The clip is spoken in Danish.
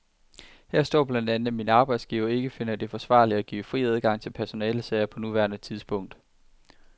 Her står blandt andet, at min arbejdsgiver ikke finder det forsvarligt at give fri adgang til personalesager på nuværende tidspunkt.